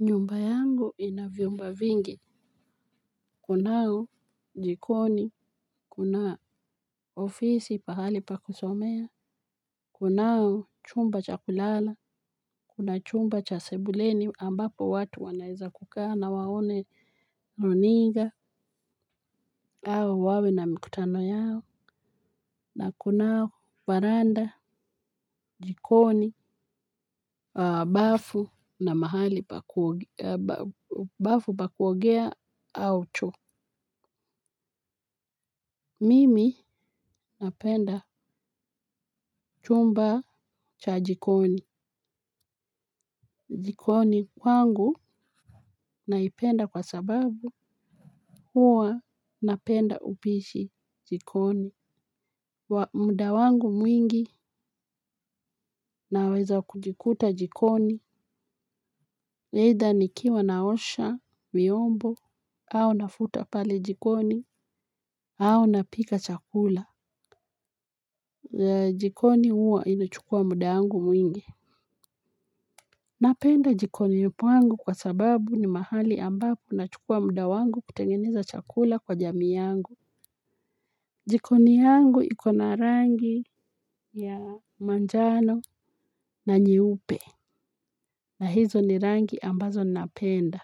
Nyumba yangu ina vyumba vingi, kunao jikoni, kuna ofisi pahali pa kusomea, kunao chumba cha kulala, kuna chumba cha sebuleni ambapo watu wanaeza kukaa na waone runinga au wawe na mikutano yao, na kunao varanda, jikoni, bafu na mahali pakuogea au choo. Mimi napenda chumba cha jikoni. Jikoni kwangu naipenda kwa sababu huwa napenda upishi jikoni. Muda wangu mwingi naweza kujikuta jikoni. Aidha ni kiwa naosha viyombo au nafuta pale jikoni au napika chakula. Jikoni huwa inachukuwa muda wangu mwingi. Napenda jikoni pwangu kwa sababu ni mahali ambapo nachukua muda wangu kutengeneza chakula kwa jamii yangu. Jikoni yangu iko na rangi ya manjano na nyeupe. Na hizo ni rangi ambazo napenda.